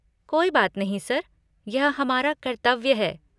कोई बात नहीं सर, यह हमारा कर्तव्य है।